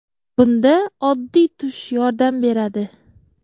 Bunda oddiy tush yordam beradi.